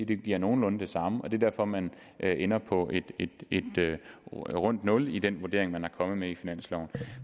det giver nogenlunde det samme og det er derfor man ender på et rundt nul i den vurdering man er kommet med i finansloven